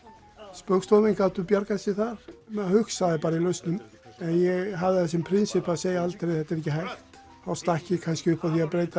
spaugstofumenn gátu bjargað sér þar maður hugsaði bara í lausnum en ég hafði það sem prinsipp að segja aldrei þetta er ekki hægt þá stakk ég kannski upp á því að breyta